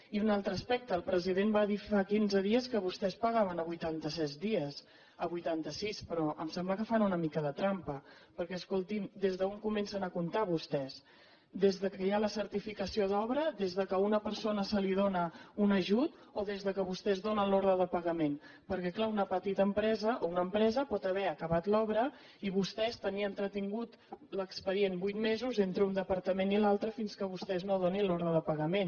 i un altre aspecte el president va dir fa quinze dies que vostès pagaven a vuitanta set dies a vuitanta sis però em sembla que fan una mica de trampa perquè escolti’m des d’on comencen a comptar vostès des que hi ha la certificació d’obra des que a una persona se li dóna un ajut o des que vostès donen l’ordre de pagament perquè clar una petita empresa o una empresa pot haver acabat l’obra i vostès tenir entretingut l’expedient vuit mesos entre un departament i l’altre fins que vostès no donin l’ordre de pagament